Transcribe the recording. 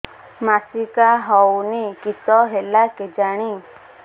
ମାସିକା ହଉନି କିଶ ହେଲା କେଜାଣି